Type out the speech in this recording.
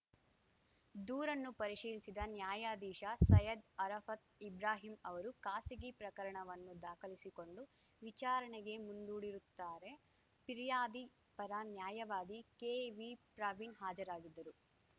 ದೂರನ್ನು ಪರಿಶೀಲಿಸಿದ ನ್ಯಾಯಾಧೀಶ ಸೈಯದ್‌ ಅರಾಫತ್‌ ಇಬ್ರಾಹಿಂ ಅವರು ಖಾಸಗಿ ಪ್ರಕರಣವನ್ನು ದಾಖಲಿಸಿಕೊಂಡು ವಿಚಾರಣೆಗೆ ಮುಂದೂಡಿರುತ್ತಾರೆ ಪಿರ್ಯಾದಿ ಪರ ನ್ಯಾಯವಾದಿ ಕೆವಿಪ್ರವೀಣ್‌ ಹಾಜರಾಗಿದ್ದರು